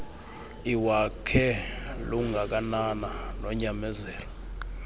iwakhe lungakanana nonyamezelo